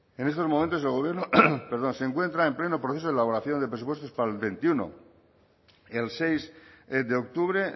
en estos momentos el gobierno perdón se encuentra en pleno proceso de elaboración de presupuestos para el veintiuno el seis de octubre